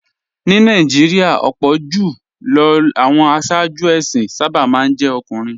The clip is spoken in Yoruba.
Ní Nàìjíríà, ọ̀pọ̀ jù lọ àwọn aṣáájú ẹ̀sìn sábà máa ń jẹ́ ọkùnrin